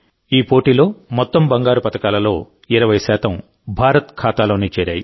ఈ టోర్నీలో మొత్తం బంగారు పతకాలలో 20 భారత్ ఖాతాలోనే చేరాయి